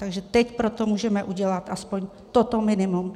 Takže teď pro to můžeme udělat alespoň toto minimum.